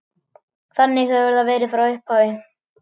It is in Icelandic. Þannig hefur það verið frá upphafi.